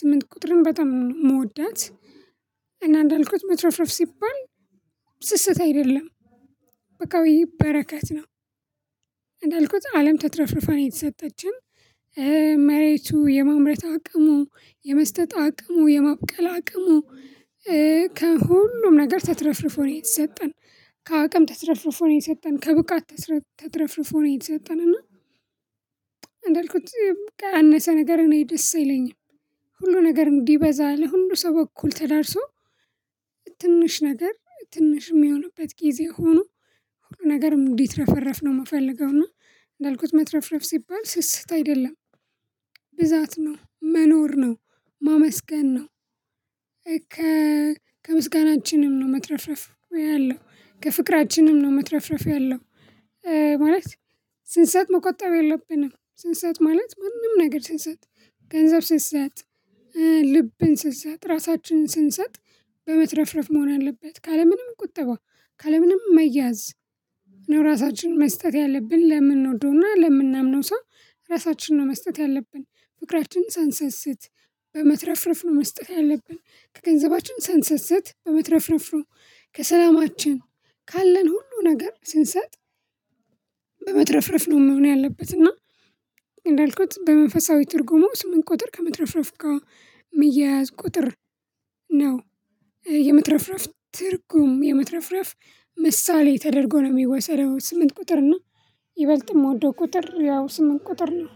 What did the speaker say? ስምንት ቁጥርን በጣም ነው። ምወዳት እና እንዳልኩት መትረፍረፍ ሲባል ስስት አይደለም። በቃ ወይ በረከት ነው። እንዳልኩት አለም ተትረፍርፋ ነው የተሰጠችን። መሬቱ የማምረት አቅሙ የመስጠት አቅሙ የማብቀል አቅሙ ከሁሉም ነገር ተትረፍርፎ ነው የተሰጠን። ከአቅም ተትረፍርፎ ነው የተሰጠን ከብቃት ተትረፍርፎ ነው የተሰጠን። እና እንዳልኩት ያነሰ ነገር እኔ ደስ አይለኝም። ሁሉ ነገር እንዲህ በዛ ለሁሉ ሰው በኩል ተላርሶ ትንሽ ነገር ትንሽ የሚሆንበት ጊዜ ሆኖ ነገርም እንዲትረፈረፍ ነው የምፈልገው። እና እንዳልኩት መትረፍረፍ ሲባል ስስት አይደለም። ብዛት ነው። መኖር ነው፤ ማመስገን ነው። ከ ከምስጋናችንም ነው መትረፍ ያለው። ከፍቅራችንም ነው መትረፍረፍ ያለው። ማለት ስንሰጥ መቆጣብ የለብንም። ስንሰጥ ማለት ማንም ነገር ስንሰጥ ገንዘብ ስንሰጥ ልብን ስንሰጥ ራሳችንን ስንሰጥ በመትረፍረፍ መሆን አለበት። ካለምንም ቁጠባ ካለምንም መያዝ ነው ራሳችንን መስጠት ያለብን ለምንወደውና ለምናምነው ሰው ራሳችንን ነው መስጠት ያለብን። ፍቅራችንን ሳንሰስት በመትረፍረፍሩ መስጠት ያለብን ከገንዘባችን ሰንሰሰት በመትረፍረፍ ነው። ከሰላማችን ካለን ሁሉ ነገር ስንሰጥ በመትረፍረፍ ነው መሆን ያለበት። እና እንዳልኩት በመንፈሳዊ ትርጉሙ ስምንት ቁጥር ከምትረፍረፍ ግ ሚያያዝ ቁጥር ነው። የመትረፍረፍ ትርጉም የመትረፍረፍ ምሳሌ ተደርጎ ነው የሚወሰደው ስምንት ቁጥር። እና ይበልጥም ምወደው ቁጥር ያው ስምንት ቁጥር ነው።